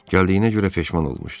Gəldiyinə görə peşman olmuşdu.